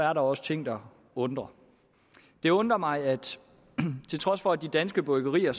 er der også ting der undrer det undrer mig at til trods for at de danske bryggerier